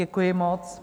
Děkuji moc.